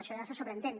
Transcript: això ja se sobreentén